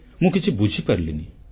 ମୁଁ କିଛି ବୁଝିପାରିଲିନି